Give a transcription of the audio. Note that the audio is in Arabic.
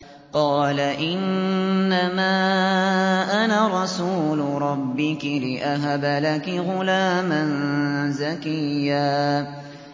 قَالَ إِنَّمَا أَنَا رَسُولُ رَبِّكِ لِأَهَبَ لَكِ غُلَامًا زَكِيًّا